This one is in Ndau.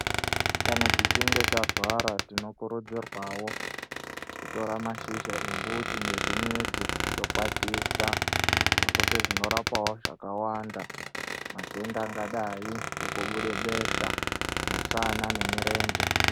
Kana tichinge tarwara tinokurudzirwawo kutora mashizha embuti nezvimidzi tokwatisa, nekuti zvinorapawo zvakawanda. Matenda angadai sekubuda besha, mushana nemirenje.